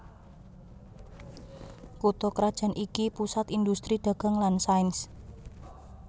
Kutha krajan iki pusat indhustri dagang lan sains